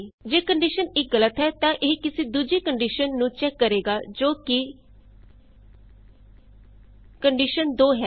ਜੇ ਕੰਡੀਸ਼ਨ 1 ਗਲਤ ਹੈ ਤਾਂ ਇਹ ਕਿਸੀ ਦੂਜੀ ਕੰਡੀਸ਼ਨ ਨੂੰ ਚੈਕ ਕਰੇਗਾ ਜੋ ਕਿ ਚੋ ਕੰਡੀਸ਼ਨ2 ਹੈ